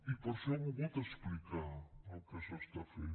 i per això he volgut explicar el que s’està fent